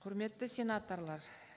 құрметті сенаторлар